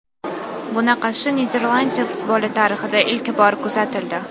Bunaqasi Niderlandiya futboli tarixida ilk bor kuzatildi.